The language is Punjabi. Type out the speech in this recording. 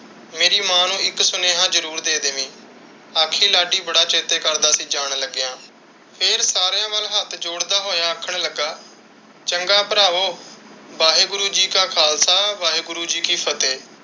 ਮੇਰੀ ਮਾਂ ਨੂੰ ਇੱਕ ਸੁਨੇਹਾ ਜ਼ਰੂਰ ਦੇ ਦੈਵੀ। ਆਖੀਂ ਲਾਡੀ ਬੜਾ ਚੇਤੇ ਕਰਦਾ ਸੀ ਜਾਣ ਲਗਿਆਂ। ਫਿਰ ਸਾਰਿਆਂ ਵੱਲ ਹੱਥ ਜੋੜਦਾ ਹੋਇਆ ਆਖਣ ਲੱਗਾ, ਚੰਗਾ ਭਰਾਵੋ ਵਾਹਿਗੁਰੂ ਜੀ ਦਾ ਖਾਲਸਾ ਵਾਹਿਗੁਰੂ ਜੀ ਦੀ ਫਤਿਹ।